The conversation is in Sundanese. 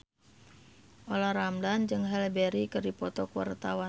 Olla Ramlan jeung Halle Berry keur dipoto ku wartawan